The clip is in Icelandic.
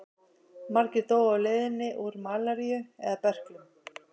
Margir dóu á leiðinni úr malaríu eða berklum.